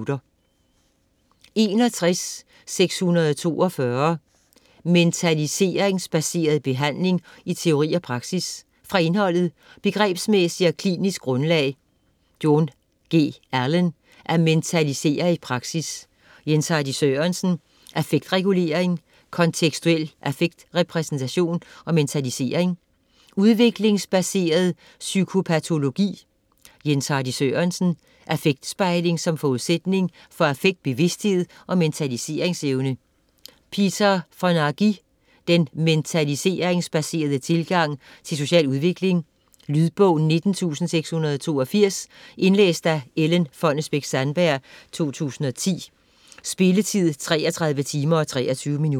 61.642 Mentaliseringsbaseret behandling i teori og praksis Fra indholdet: Begrebsmæssigt og klinisk grundlag (Jon. G. Allen: At mentalisere i praksis. Jens Hardy Sørensen: Affektregulering, kontekstuel affektrepræsentation og mentalisering). Udviklingsbaseret psykopatologi (Jens Hardy Sørensen: Affektspejling som forudsætning for affektbevidsthed og mentaliseringsevne. Peter Fonagy: Den mentaliseringsbaserede tilgang til social udvikling. Lydbog 19682 Indlæst af Ellen Fonnesbech-Sandberg, 2010. Spilletid: 33 timer, 23 minutter.